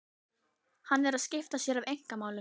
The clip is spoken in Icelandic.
Hann er að skipta sér af einkamálum